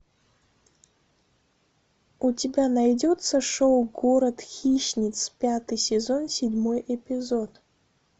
у тебя найдется шоу город хищниц пятый сезон седьмой эпизод